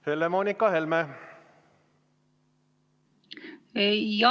Helle-Moonika Helme!